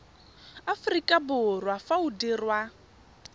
aforika borwa fa o dirwa